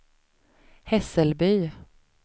Hässelby